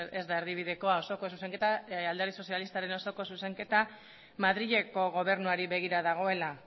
ez da erdibidekoa osoko zuzenketa alderdi sozialistaren osoko zuzenketa madrileko gobernuari begira dagoela